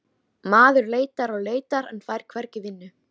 Hún lítur í kringum sig meðan hann lætur dæluna ganga.